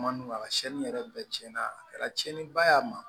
Manɔgɔ si yɛrɛ bɛɛ cɛn na a kɛra tiɲɛniba ye a ma